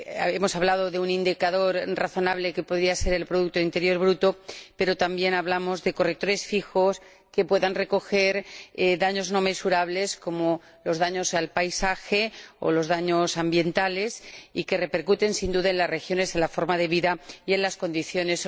Hemos hablado de un indicador razonable, que podría ser el producto interior bruto, pero también hablamos de correctores fijos que puedan recoger daños no mensurables, como los daños al paisaje o los daños ambientales, que repercuten, sin duda, en las regiones, en la forma de vida y en los habitantes.